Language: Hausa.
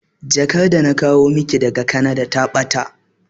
Jakar da na kawo maki daga Kanada ta ɓata